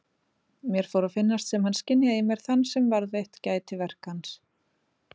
Mér fór að finnast sem hann skynjaði í mér þann sem varðveitt gæti verk hans.